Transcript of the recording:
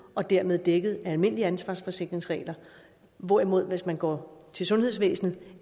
og dermed dækket af almindelige ansvarsforsikringsregler hvorimod man hvis man går til sundhedsvæsenet